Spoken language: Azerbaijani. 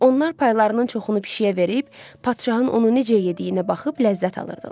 Onlar paylarının çoxunu pişiyə verib, padşahın onu necə yediyinə baxıb ləzzət alırdılar.